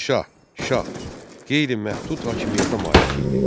Padşah, şah qeyri-məhdud hakimiyyətə malik idi.